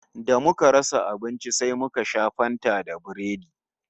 Da muka rasa abinci sai muka sha Fanta da Biredi